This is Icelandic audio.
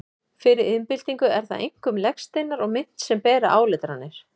Fyrir iðnbyltingu eru það einkum legsteinar og mynt sem bera áletranir.